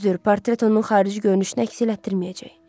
Düzdür, portret onun xarici görünüşünü əks etdirməyəcək.